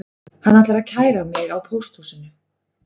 Hann ætlar að kæra mig á pósthúsinu